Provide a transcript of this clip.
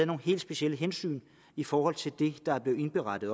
nogle helt specielle hensyn i forhold til det der er blevet indberettet